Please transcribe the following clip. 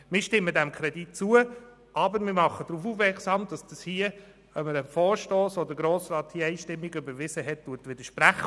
Wir stimmen dem Kredit zu, aber wir machen darauf aufmerksam, dass dies einem Vorstoss, den der Grosse Rat einstimmig überwiesen hat, widerspricht.